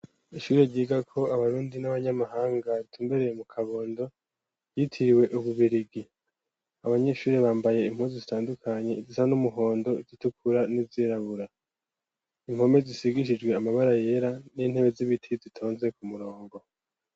Ishure ryigako abarundi, n'abanyamahanga, ritumbereye mu Kabondo, ryitiriwe Ububirigi; abanyeshure, bambaye impuzu zitandukanye; izisa n'umuhondo, izitukura, n'izirabura; impome zisigishijwe amabara yera, n'intebe z'ibiti, zitonze ku murongo.